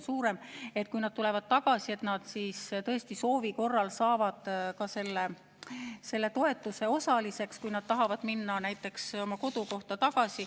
Kui nad tulevad tagasi, siis nad soovi korral võiksid tõesti saada selle toetuse osaliseks, kui nad tahavad minna näiteks tagasi oma kodukohta.